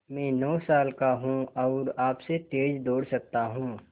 मैं नौ साल का हूँ और आपसे तेज़ दौड़ सकता हूँ